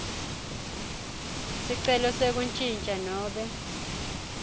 sicelo sekuntjintja nobe